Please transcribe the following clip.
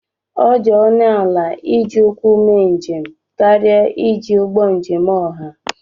ọ dị ọnụ ala iji ụkwụ mee njem karịa iji ụgbọ njem ọha